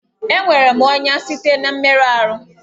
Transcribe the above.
Enwere m ọnya site na mmerụ ahụ